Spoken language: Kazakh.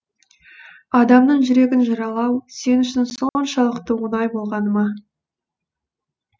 адамның жүрегін жаралау сен үшін соншалықты оңай болғаны ма